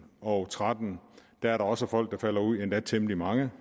og tretten der er der også folk der falder ud af endda temmelig mange